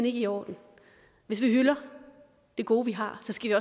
ikke i orden hvis vi hylder det gode vi har skal